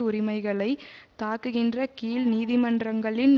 உரிமைகளை தாக்குகின்ற கீழ் நீதிமன்றங்களின்